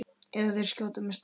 Eða þeir skjóta mig strax.